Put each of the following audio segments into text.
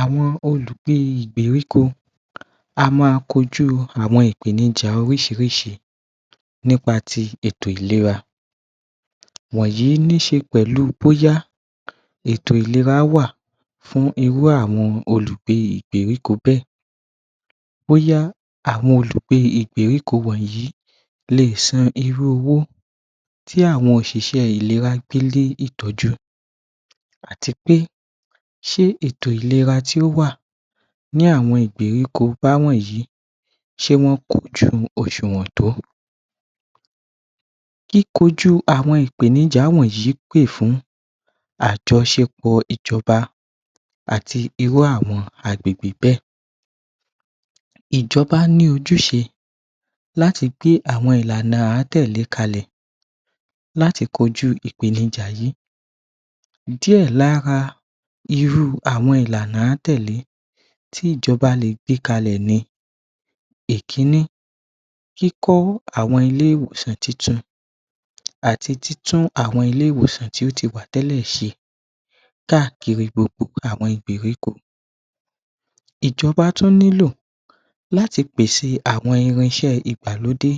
Àwọn olùgbé ìgbèríko á ma kojú ìpènijà oríṣiríṣi nípa ti ètò ìlera wọ̀nyìí níṣẹ pẹ̀lú bóyá ètò ìléra wà fún irú àwọn olùgbé ìgbèríko bẹ́ẹ̀ bóyá àwọn olùgbé ìgbèríko wọ̀nyìí lè san irú owó tí àwọn òṣìṣẹ́ ìléra gbé lé ìtọ́jú àti pé ṣẹ́ ètò ìléra tí ó wà ní àwọn ìgbèríko bá wọ̀nyìí ṣé wọ́n kọ́jú òsùwọ́n tó kí kojú àwọn ìpènijà wọ̀nyìí pè fún àjọsẹ̀pọ̀ ìjọ́ba àti irú àwọn agbègbè bẹ́ẹ̀ ìjọ́ba ní ojúṣe láti gbé àwọn ìlànà à ń tẹ̀lẹ́ kale láti kojú ìpènijà yìí díè lára irú àwọn ìlànà à ń tẹ̀lẹ́ tí ìjọ́ba lè gbé kalẹ̀ ni Ìkínnì kíkọ́ àwọn ilé-ìwòsàn tuntun àti títún àwọn ilé-ìwòsàn tí ó ti wà tẹ́lẹ̀ ṣe káàkiri gbogbo àwọn ìgbèríko ìjọ́ba tún nílò láti pèse àwọn irinṣé ìgbàlódé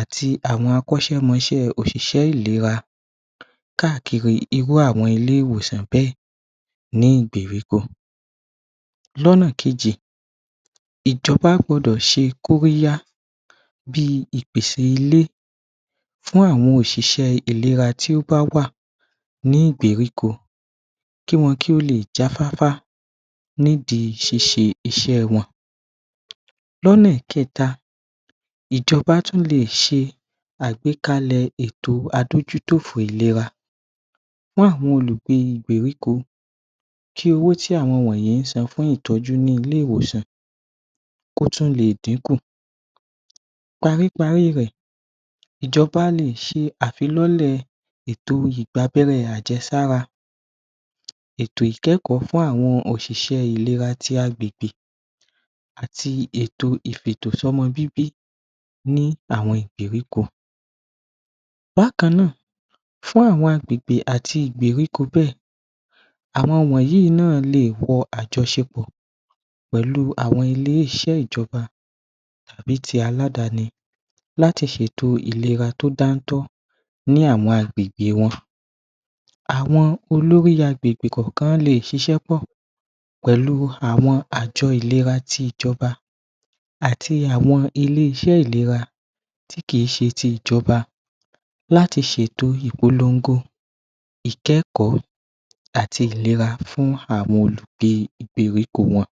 àti àwọn akọ́ṣẹmọ́ṣẹ́ òṣìṣẹ́ ìléra káàkiri irú àwọn ilé-ìwòsàn bẹ́ẹ̀ ní ìgbèríko lọ́nà kejì ìjọ́ba gbọ́dọ̀ ṣe kóríhá bí ìpèsè ilé fún àwọn òṣìṣẹ́ ìléra tí ó bá wà ní ìgbèríko kí wọn lé jàá fáfá nídìí ṣíṣe iṣẹ́ wọn lọ́nà kẹta ìjọ́ba tún lè ṣe àgbékalè ètò adójútòfo ìléra fún àwọn olùgbé ìgbèríko kí owó tí àwọn wọ̀nyìí san fún ìtọ́jú ni ilé ìwòsàn kí ó tún lè díkùn parí parí rẹ̀ ìjọ́ba lè ṣe àfilọ́lẹ̀ ètò ìgba abẹ́rẹ́ àjẹ́sára ètò ìkẹ́kọ̀ọ́ fún àwọn òṣìṣẹ́ ìléra tí agbègbè àtí ètò ìfi ètò sọ́mọ bíbí ní àwọn ìgbèríko bákan náà fún àwọn agbègbè àti ìgbèríko bẹ́ẹ̀ àwọn wọ̀nyìí náà lè wọ àjọsẹ̀pọ̀ pẹ̀lú àwọn ilé-iṣẹ́ ìjọ́ba tàbí ti aláàdáni láti ṣe ètò ìléra tí ó dá tọ́ ní àwọn agbègbè wọn àwọn olórí agbègbè kòòkan lè ṣíṣe pọ̀ pẹ̀lú àwọn àjọ ìléra tí ìjọ́ba àti àwọn ilé-iṣẹ́ ìléra tí kì í ṣe títí ìjọ́ba láti ṣe ètò ìpọ́nlongo ìkẹ́kọ̀ọ́ àti ìléra fún àwọn olùgbé ìgbèríko wọn